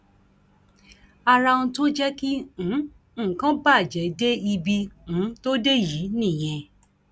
ara ohun tó jẹ kí um nǹkan bàjẹ dé ibi um tó dé yìí nìyẹn